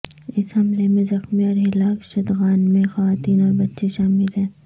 اس حملے میں زخمی اور ہلاک شدگان میں خواتین اور بچے شامل ہیں